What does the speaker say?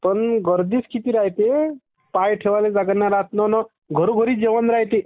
गर्दीच किती रायते पाय ठेवाले जागा नाही राहत ना ना घरो घरी जेवण रायते.